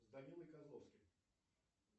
с данилой козловским